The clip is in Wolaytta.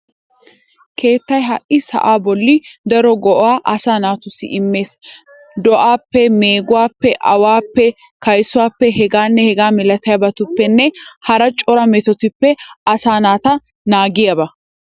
Keettay ha sa"aa bolli daro go"aa asaa naatussi immees. Do"aappe, meeguwaappe, awaappe, kaysuwaappe, hegaanne hegaa milatiyabatuppennne hara cora metotupppe asaa naata naagiyaaba.